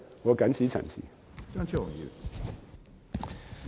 我謹此陳辭。